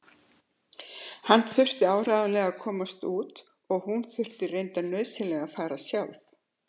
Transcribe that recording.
Hann þurfti áreiðanlega að komast út og hún þurfti reyndar nauðsynlega að fara sjálf.